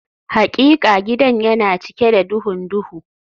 Hakika gidan yana cike da duhun duhu